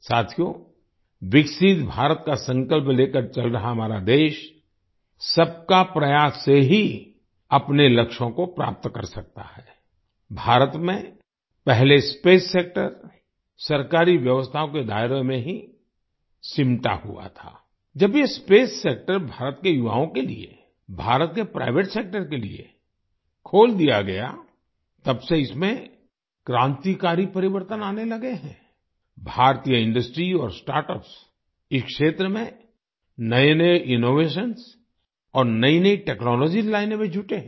साथियो विकसित भारत का संकल्प लेकर चल रहा हमारा देशसबका प्रयास से ही अपने लक्ष्यों को प्राप्त कर सकता है आई भारत में पहले स्पेस सेक्टर सरकारी व्यवस्थाओं के दायरे में ही सिमटा हुआ था आई जब ये स्पेस सेक्टर भारत के युवाओं के लिए भारत के प्राइवेट सेक्टर के लिए खोल दिया गया तब से इसमें क्रांतिकारी परिवर्तन आने लगे हैं आई भारतीय इंडस्ट्री और स्टार्टअप्स इस क्षेत्र में नएनए इनोवेशंस और नईनई टेक्नोलॉजीज लाने में जुटे हैं